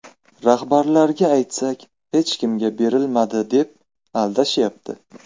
Rahbarlarga aytsak, hech kimga berilmadi, deb aldashyapti.